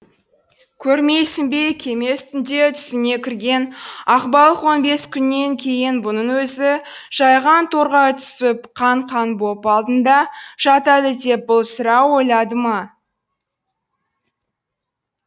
көрмейсің бе кеме үстінде түсіне кірген ақбалық он бес күннен кейін бұның өзі жайған торға түсіп қан қан боп алдында жатады деп бұл сірә ойлады ма